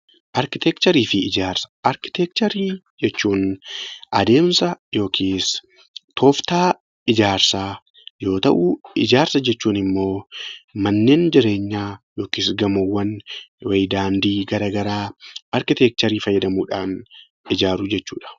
Arkiteekcharii fi Ijaarsa Arkiteekchatrii jechuun adeemsa yookiis tooftaa ijaarsaa yoo ta'u; Ijaarsa jechuun immoo manneen jireenyaa yookiis gamoowwan, daandii gara garaa arkiteekcharii fayyadamuudhaan ijaaru jechuu dha.